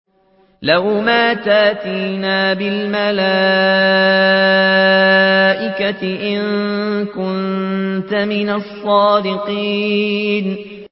لَّوْ مَا تَأْتِينَا بِالْمَلَائِكَةِ إِن كُنتَ مِنَ الصَّادِقِينَ